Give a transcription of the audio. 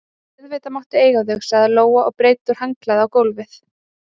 Auðvitað máttu eiga þau, sagði Lóa og breiddi úr handklæðinu á gólfið.